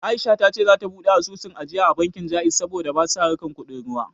Aisha ta ce za ta buɗe asusun ajiya da bankin Ja'iz saboda basa harkar kuɗin ruwa